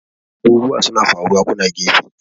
abubuwa suna faruwa kuna gefe!